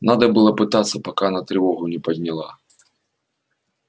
надо было пытаться пока она тревогу не подняла